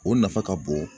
O nafa ka bon